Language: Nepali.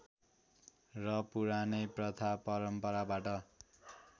र पुरानै प्रथा परम्पराबाट